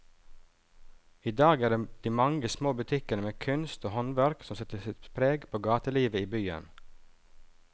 I dag er det de mange små butikkene med kunst og håndverk som setter sitt preg på gatelivet i byen.